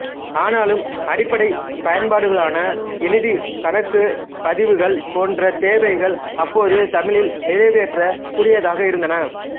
ஆனாலும் அடிப்படைப் பயன்பாடுகளான எழுதி கணக்குப் பதிவுகள் போன்ற தேவைகள் அப்போது தமிழில் நிறைவேற்றக் கூடியதாக இருந்தன